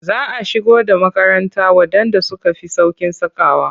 Za a shigo da makaranta waɗanda suka fi sauƙin sakawa.